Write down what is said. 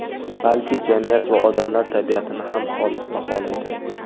balki… jamiyat va odamlar tabiatini ham xolis baholaydi.